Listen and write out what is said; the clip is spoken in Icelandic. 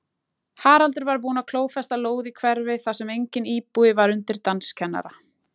Haraldur var búinn að klófesta lóð í hverfi þar sem enginn íbúi var undir danskennara.